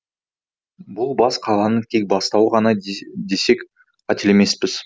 бұл бас қаланың тек бастауы ғана десек қателеспейміз